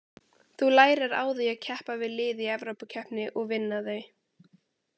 Þú lærir á því að keppa við lið í Evrópukeppni og vinna þau.